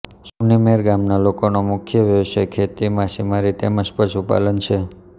સુનિમેર ગામના લોકોનો મુખ્ય વ્યવસાય ખેતી માછીમારી તેમ જ પશુપાલન છે